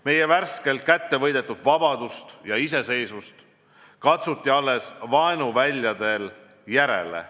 Meie värskelt kättevõidetud vabadust ja iseseisvust katsuti alles vaenuväljadel järele.